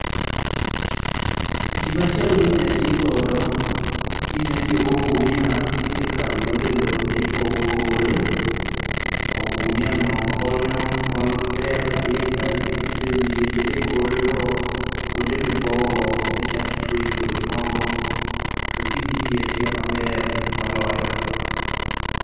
Gimachielo minya tigodo, inya tiyo gi ogunia kise kao iole loo tipogo kore, ogunia no konyo maber kabisa idhi pithe wiye kod e kore go kuonde ma ipow go be ichak ichuoye kodhi moko to gidhi tiyo atiya mabe rmoloyo